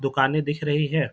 दुकाने दिख रही है ।